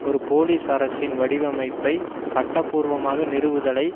ஒரு போலீஸ்அரசின் வடிவமைப்பை சட்ட பூர்வமாக நிறுவுதலை